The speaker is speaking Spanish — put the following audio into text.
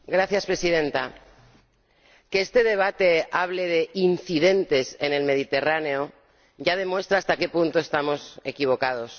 Señora Presidenta, que este debate hable de incidentes en el Mediterráneo ya demuestra hasta qué punto estamos equivocados.